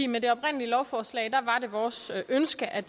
med det oprindelige lovforslag var det vores ønske at